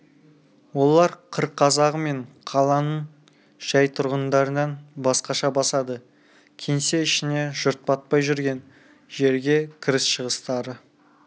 олар қыр қазағы мен қаланың жай тұрғындарынан басқаша басады кеңсе ішіне жұрт батпай жүрген жерге кіріс-шығыстары